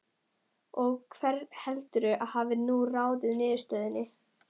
Og hver heldurðu að hafi nú ráðið niðurstöðunni?